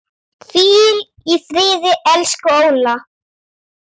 Hvíl í friði, elsku Óla.